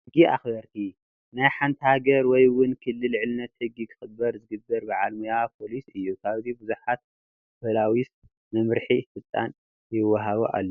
ሕጊ ኣኽበርቲ፡- ናይ ሓንቲ ሃገር ወይ ውን ክልል ልዕልነት ሕጊ ክኽበር ዝገበር ባዓል ሞያ ፖሊስ እዩ፡፡ ኣብዚ ብዙሓት ፖላዊስ መምርሒን ስልጠናን ይዋሃቡ ኣለው፡፡